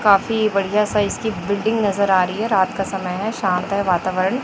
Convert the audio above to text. काफी बढ़िया साइज की बिल्डिंग नजर आ रही है रात का समय है शांत है वातावरण--